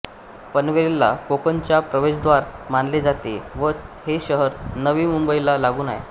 पनवेलला कोकणाचे प्रवेशद्वार मानले जाते व हे शहर नवी मुंबईला लागून आहे